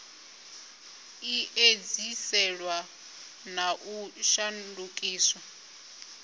i edziselwe na u shandukiswa